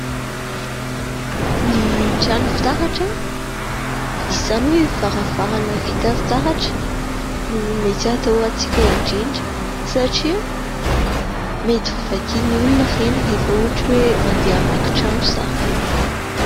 Ny trano fitaratra, izany hoe varavarana vita fitaratra, no mety atahorantsika indrindra ; satria mety ho vakin'olona ireny rehefa ohatra hoe andeha hamaky trano zareo.